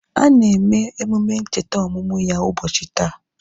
A na eme emume ncheta ọmụmụ ya ubochi taa